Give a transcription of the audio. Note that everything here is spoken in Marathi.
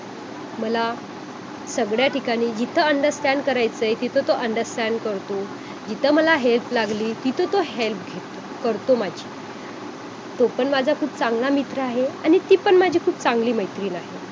मग ते काय असतं की सा असामाजिकतावर जो असतो आपला तो सामाजिक व्यवहार नीट नसतो .तर हळूहळू जस आपण भावार्थिक ध्यान करायला लागतो तेव्हा आपला जो तणाव असतो तो निघून जात असतो आणि त्यामुळे